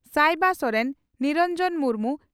ᱥᱟᱭᱵᱟ ᱥᱚᱨᱮᱱ ᱱᱤᱨᱚᱱᱡᱚᱱ ᱢᱩᱨᱢᱩ